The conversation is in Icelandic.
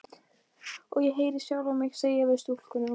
Hver einasti maður í vinnuflokknum beið hreyfingarlaus.